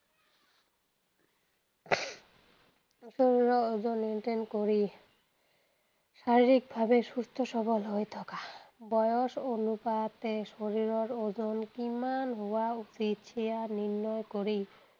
শৰীৰৰ ওজন নিয়ন্ত্ৰণ কৰি শাৰিৰীক ভাৱে সুস্থ সৱল হৈ থকা। বয়স অনুপাতে শৰীৰৰ ওজন কিমান হোৱা উচিত সেয়া নিৰ্ণয় কৰি